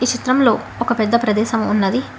చిత్రంలో ఒక పెద్ద ప్రదేశం ఉన్నది.